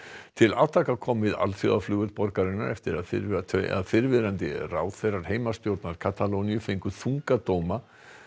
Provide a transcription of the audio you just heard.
til átaka kom við alþjóðaflugvöll borgarinnar eftir að fyrrverandi að fyrrverandi ráðherrar heimastjórnar Katalóníu fengu þunga dóma